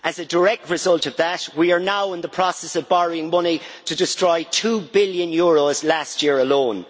As a direct result of that, we are now in the process of borrowing money to destroy EUR 2 billion last year alone.